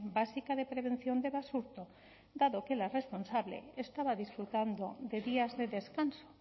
básica de prevención de basurto dado que la responsable estaba disfrutando de días de descanso